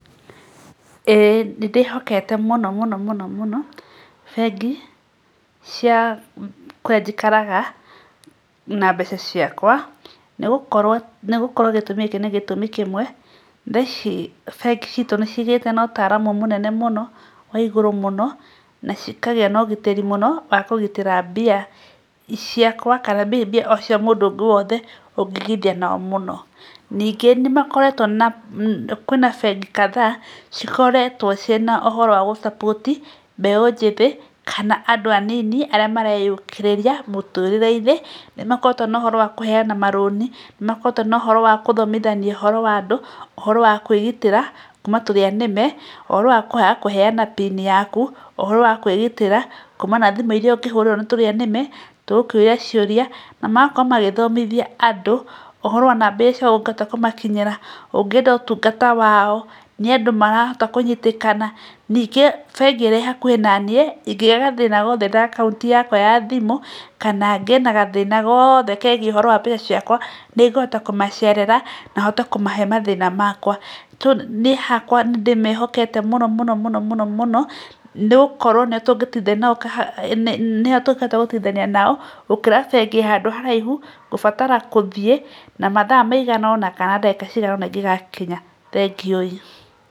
Ĩĩ nĩ ndĩhokete mũno mũno mũno bengi cia kũrĩa njikaraga, na mbeca ciakwa, nĩgũkorwo gĩtũmi gĩkĩ nĩ gĩtũmi kĩmwe, thaa ici bengi citũ nĩ cigĩte na ũtaaramu mũnene mũno wa igũrũ mũno, na cikagĩa ũgitĩri mũno wa kũgitĩra mbia ciakwa , kana mbia cia mũndũ ũngĩ wothe ũngĩigithia nao mũno, ningĩ nĩmakoretwo na kwĩna bengi kadhaa[cs cikoretwo cina ũhoro wa gũ support mbeũ njĩthĩ kana andũ anini arĩa mareyũkĩrĩria mũtũrĩre-inĩ, nĩmakoretwo na ũhoro wa kũheana marũni, nĩmakoretwo na ũhoro wa gũthomithania ũhoro wa andũ , ũhoro wa kwĩgitĩra kumana na tũrĩa nime, ũhoro wa kwaga kũheana pin yaku , ũhoro wa kwĩgitĩra kumana na thimũ iria ũngĩhũrĩrwo nĩ tũrĩa nĩme , tũgĩkũria ciũria, na magakorwo magĩthomithia andũ , ũhoro wa mbeca kana ũngĩenda kũmakinyĩra, ũngĩenda ũtungata wao nĩ andũ marahota kũnyitĩkana, ningĩ bengi ĩrĩa ĩ hakuhĩ na niĩ, ingĩgĩa na gathĩna o gothe na akaunti yakwa ya thimũ, kana ngĩe na gathĩna gothe kegiĩ ũhoro wa mbeca ciakwa, nĩngũhota kũmacerera, na hote kũmahe mathĩna makwa, niĩ hakwa nĩndĩmehokete mũno mũno mũno mũno , nĩgũkorwo no tũhote gũteithania nao , gũkĩra bengi ĩ handũ haraihu ngũbatara gũthiĩ na mathaa maigana ona, kana ndagĩka cigana ona ingĩgakinya, thegioi.